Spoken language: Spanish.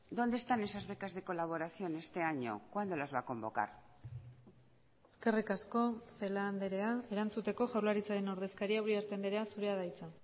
dónde están esas becas de colaboración este año cuándo las va a convocar eskerrik asko celaá andrea erantzuteko jaurlaritzaren ordezkaria uriarte andrea zurea da hitza